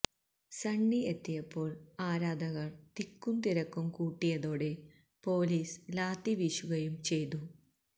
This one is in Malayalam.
സണ്ണി എത്തിയപ്പോള് ആരാധകര് തിക്കുംതിരക്കും കൂട്ടിയതോടെ പൊലീസ് ലാത്തി വീശുകയും ചെയ്തു